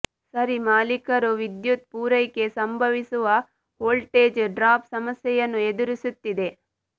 ಸರಿ ಮಾಲೀಕರು ವಿದ್ಯುತ್ ಪೂರೈಕೆ ಸಂಭವಿಸುವ ವೋಲ್ಟೇಜ್ ಡ್ರಾಪ್ ಸಮಸ್ಯೆಯನ್ನು ಎದುರಿಸುತ್ತಿದೆ